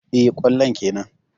Eh, kwallon kenan.